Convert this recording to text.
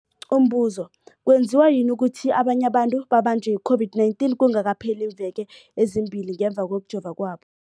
Umbuzo, kwenziwa yini ukuthi abanye abantu babanjwe yi-COVID-19 kungakapheli iimveke ezimbili ngemva kokujova kwabo?